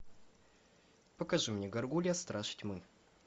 покажи мне горгулья страж тьмы